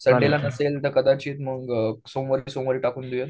संडेला नसेल तर मग कदाचित सोमवारी टाकून देऊया.